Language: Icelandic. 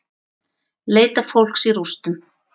Leita fólks í rústum